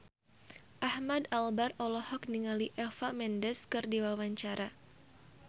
Ahmad Albar olohok ningali Eva Mendes keur diwawancara